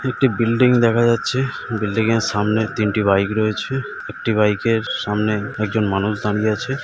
একটি বিল্ডিং দেখা যাচ্ছে | বিল্ডিংয়ের সামনের তিনটি বাইক রয়েছে | একটি বাইকের সামনে একজন মানুষ দাঁড়িয়ে আছে ।